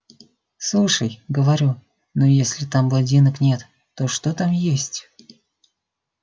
слушай говорю ну если там блондинок нет то что там есть